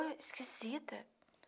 dor esquisita.